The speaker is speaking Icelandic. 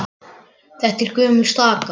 Þetta er gömul staka.